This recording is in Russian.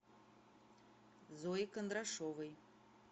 зои кондрашовой